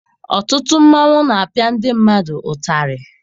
Ọtụtụ mmanwụ na-apịa ndị mmadụ ụtarị.